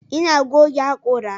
ina goge hakora.